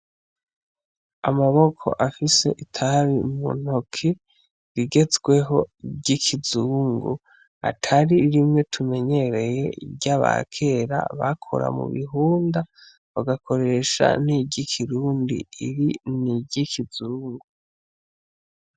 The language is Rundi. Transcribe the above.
Amaboko afise itabi mu ntoke rigezweho ryikizungu atari rimwe tumenyereye ryabakera bakora mu bihunda bagakoresha n'iryikirundi iri n'iryikizungu.